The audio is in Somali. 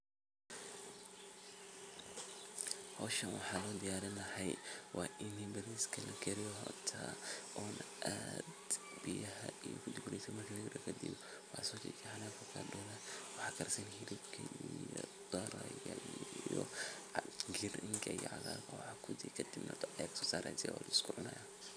talaabada labaad waxay noqonaysaa in la diyaariyo dhul ku habboon beeraleynta. Bulshada waa in laga qaybgeliyo diyaarinta beerta, iyagoo loo qaybiyo shaqooyinka sida nadiifinta dhulka, qodista godadka lagu beerayo, iyo diyaarinta abuurka la rabo in la beero. Intaa kadib, waa in la helo tababarro lagu baranayo sida ugu fiican ee loo beero geedaha ama dalagyada la doonayo. Tababarradan waxaa laga heli karaa khubaro deegaanka ah ama hay’adaha ka shaqeeya arrimaha beeraleynta.